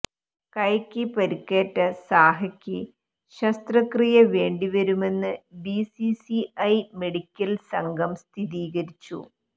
കൈക്ക് പരിക്കേറ്റ സാഹയ്ക്ക് ശസ്ത്രക്രിയ വേണ്ടിവരുമെന്ന് ബിസിസിഐ മെഡിക്കല് സംഘം സ്ഥിരീകരിച്ചു